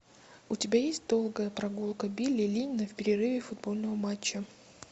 у тебя есть долгая прогулка билли линна в перерыве футбольного матча